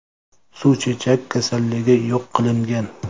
Suvchechak kasalligi yo‘q qilingan.